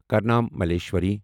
کارنام ملیشوری